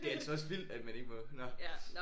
Det er altså også vildt at man ikke må nåh